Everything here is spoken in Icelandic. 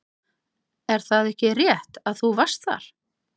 Er það ekki rétt að þú varst þar?